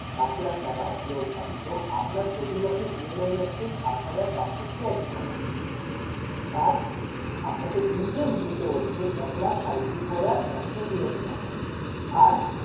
পাঁচ লাখ টাকা loan টা তো আপনার প্রতি মাসে EMI যাচ্ছে সাত হাজার পাঁচশো ছিয়াশি টাকা। তার আপনাকে interest দিতে হচ্ছে এক লাখ সাঁইত্রিশ হাজার একশো তিরাশি টাকা আর